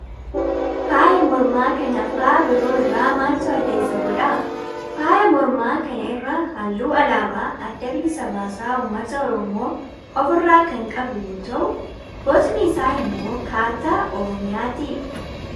Faaya mormaa kana faaya biroo irraa maaltu adda isa godha? Faaya morma kana irra halluu alaabaa adda bilisa baasaa ummata oromoo of irraa kan qabu yoo ta'u bocni isaa immoo kaartaa oromiyaati.